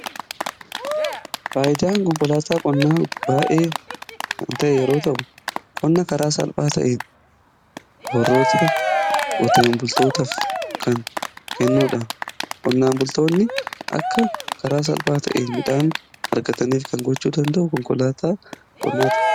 Faayidaan qonkolaataa qonnaa baay'ee ta'ee yeroo ta'u qonna karaa salphaa ta'een warroota qoteen bultootaaf kan kennuudha. Qonnaan bultoonni akka karaa salphaa ta'ee midhaan argataniif kan gochuu danda'u konkolaataa qonnaati.